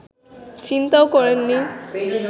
চিন্তাও করেননি